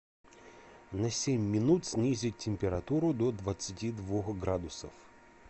на семь минут снизить температуру до двадцати двух градусов